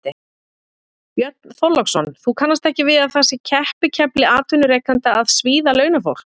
Björn Þorláksson: Þú kannast ekki við að það sé keppikefli atvinnurekenda að svíða launafólk?